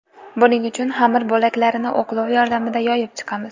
Buning uchun xamir bo‘laklarini o‘qlov yordamida yoyib chiqamiz.